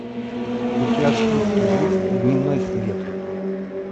у тебя в списке есть дневной свет